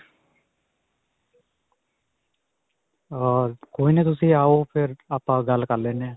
ਅਅ ਕੋਈ ਨਹੀਂ. ਤੁਸੀਂ ਆਓ ਫਿਰ ਆਪਾਂ ਗੱਲ ਕਰ ਲੈਨੇ ਹਾਂ.